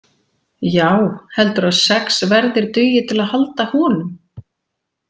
Já, heldurðu að sex verðir dugi til að halda honum?